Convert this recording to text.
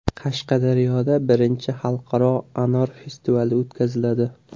Qashqadaryoda birinchi xalqaro anor festivali o‘tkaziladi.